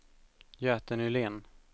Göte Nylén